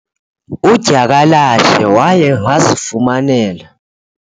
udyakalashe waye wazifumanela